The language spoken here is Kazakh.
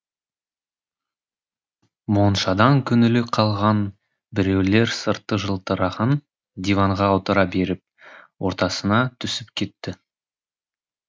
моншадан көңілі қалған біреулер сырты жылтыраған диванға отыра беріп ортасына түсіп кетті